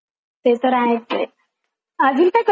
अजून काय करते तू एन्टरटेन करण्यासाठी स्वतःला?